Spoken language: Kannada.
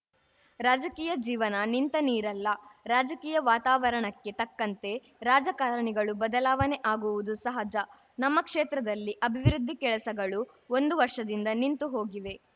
ರಾಜಕೀಯ ಜೀವನ ನಿಂತ ನೀರಲ್ಲ ರಾಜಕೀಯ ವಾತಾವರಣಕ್ಕೆ ತಕ್ಕಂತೆ ರಾಜಕಾರಣಿಗಳು ಬದಲಾವಣೆ ಆಗುವುದು ಸಹಜ ನಮ್ಮ ಕ್ಷೇತ್ರದಲ್ಲಿ ಅಭಿವೃದ್ಧಿ ಕೆಲಸಗಳು ಒಂದು ವರ್ಷದಿಂದ ನಿಂತು ಹೋಗಿವೆ